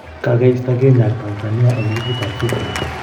Kogeisto Kenya ag Tanzania en listit ap fifa.